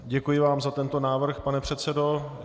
Děkuji vám za tento návrh, pane předsedo.